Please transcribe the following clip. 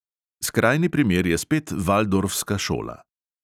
Skrajni primer je spet valdorfska šola.